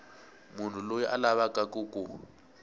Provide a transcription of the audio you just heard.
munhu loyi a lavaku ku